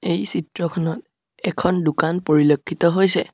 এই চিত্ৰখনত এখন দোকান পৰিলক্ষিত হৈছে।